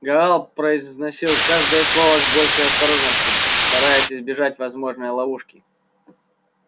гаал произносил каждое слово с большой осторожностью стараясь избежать возможной ловушки